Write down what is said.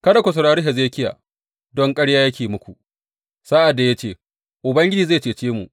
Kada ku saurari Hezekiya, don karya yake muku, sa’ad da ya ce, Ubangiji zai cece mu.’